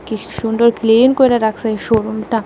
বেশ সুন্দর ক্লিন করে রাখসে এই শোরুমটা।